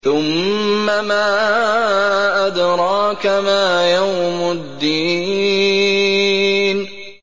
ثُمَّ مَا أَدْرَاكَ مَا يَوْمُ الدِّينِ